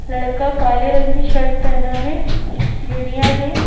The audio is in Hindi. लड़का काले रंग की शर्ट पहना है सीढ़ियाँ हैं।